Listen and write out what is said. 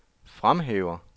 fremhæver